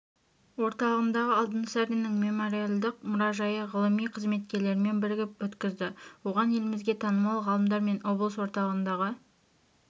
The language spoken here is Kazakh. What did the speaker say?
орталығындағы алтынсариннің мемориалдық мұражайы ғылыми қызметкерлерімен бірігіп өткізді оған елімізге танымал ғалымдар мен облыс орталығындағы